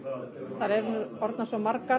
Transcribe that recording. þær eru nú orðnar svo margar